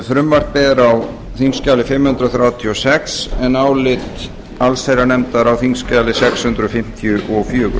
frumvarpið er á þingskjali fimm hundruð þrjátíu og sex en álit allsherjarnefndar á þingskjali sex hundruð fimmtíu og fjögur